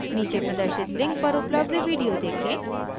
नीचे प्रदर्शित लिंक पर उपलब्ध वीडिओ देखें